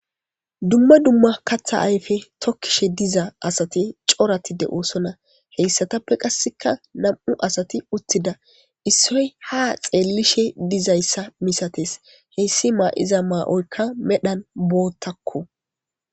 Duma duma katha ayfe tokishe diza asati corati de'osona heysatape kaseka nam'u asati uthida issoy ha xeelishe dizaysa misatesko heysi mayiza mayoyka medhan boothako.